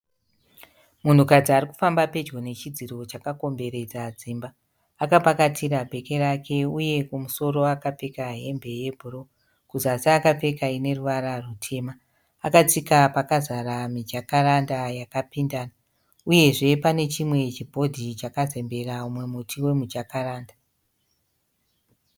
Munhukadzi arikufamba pedyo nechidziro chakakomberedza dzimba. Akapakatira bheke rake uye kumusoro akapfeka hembe yebhuruu, kuzasi akapfeka ineruvara rutema. Akatsika pakazara mijakaranda yakapindana, uyezve panechimwe chibhodhi chakazembera mumwe muti wemujakaranda.